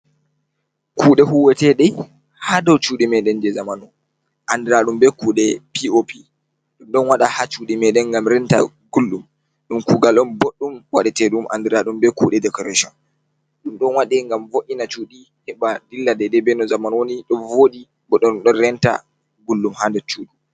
Kuɗe huweteɗe ha dow chuɗi meɗen je jamanu, andiraɗum be kude je p, o, p. Ɗon waɗa ha chuɗi meɗen ngam renta gulɗum. Ɗun kugal boɗɗum waɗete ɗum andiraɗum be kuɗe deecoretin. Ɗum ɗon waɗe ngam vo, ina chuɗi heɓa dilla daiadai be no jamanu woni ,ɗo voɗii bo ɗum ɗon renta gulɗum ha nder chuɗi.